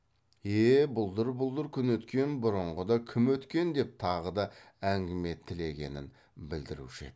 е е бұлдыр бұлдыр күн өткен бұрынғыда кім өткен деп тағы да әңгіме тілегенін білдіруші еді